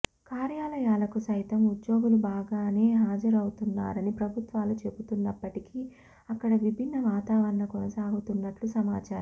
కార్యాలయాలకు సైతం ఉద్యోగులు బాగానే హాజరౌతున్నారని ప్రభుత్వాలు చెబుతున్నప్పటికీ అక్కడ విభిన్న వాతావరణం కొనసాగుతున్నట్లు సమాచారం